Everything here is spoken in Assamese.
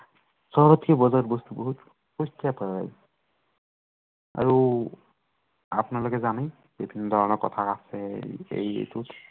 সৱতকৈ বজাৰত বস্তু, বহুত বস্তুৱে পায় আৰু আপোনালোকে জানেই, যে কেনেধৰনৰ কথা আছে এৰ এইটো